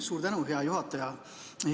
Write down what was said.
Suur tänu, hea juhataja!